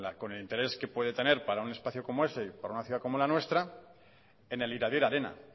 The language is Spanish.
con el interés que puede tener para un espacio como eese y para una ciudad como esta en el iradier arena